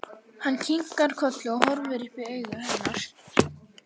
Hann kinkar kolli og horfir upp í augu hennar.